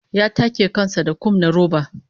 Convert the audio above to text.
Ya take kan sa da kum na roba